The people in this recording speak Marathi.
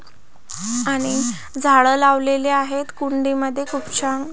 आणि झाड लावलेली आहेत कुंडीमध्ये खूप छान--